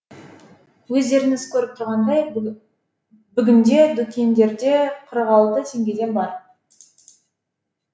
өздеріңіз көріп тұрғандай бүгінде дүкендерде қырық алты теңгеден бар